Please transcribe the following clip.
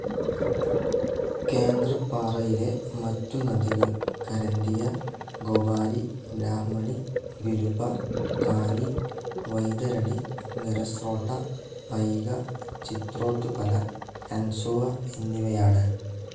കേന്ദ്രപ്പാറയിലെ മറ്റു നദികൾ കരന്ദിയ, ഗൊബാരി, ബ്രാഹ്മണി, ബിരുപ, കാനി, വൈതരണി, ഖരസ്രോട്ട, പൈക, ചിത്രേത്പല, ഹൻസുവ എന്നിവയാണ്.